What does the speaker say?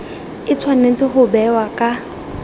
e tshwanetse go bewa ka